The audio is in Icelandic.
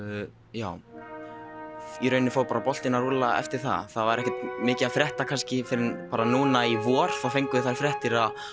já í rauninni fór bara boltinn að rúlla eftir það það var ekkert mikið að frétta kannski fyrr en núna í vor þá fengum við þær fréttir að